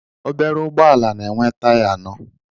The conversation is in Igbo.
Ọbere ụgbọala na-enwe taya anọ.